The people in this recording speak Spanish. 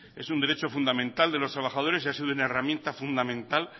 es un derecho fundamental de los trabajadores y ha sido una herramienta fundamental